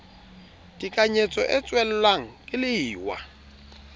tekanyetso e tswellang ke lewa